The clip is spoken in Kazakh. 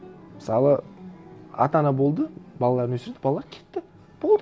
мысалы ата ана болды балаларын өсірді балалар кетті болды